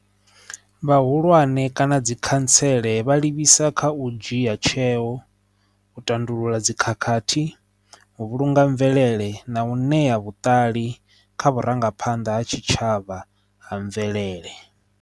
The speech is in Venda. Vhahulwane kana dzi khantsele vha livhisa kha u dzhia tsheo u tandulula dzikhakhathi u vhulunga mvelele na u ṋea vhuṱali kha vhurangaphanḓa ha tshitshavha ha mvelele.